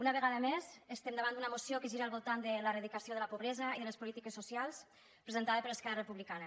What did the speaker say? una vegada més estem davant d’una moció que gira al voltant de l’eradicació de la pobresa i les polítiques socials presentada per esquerra republicana